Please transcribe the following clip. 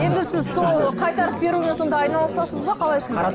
енді сіз сол қайтарып берумен сонда айналысасыз ба қалай сонда